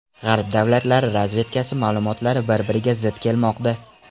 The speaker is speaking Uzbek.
G‘arb davlatlari razvedkasi ma’lumotlari bir-biriga zid kelmoqda.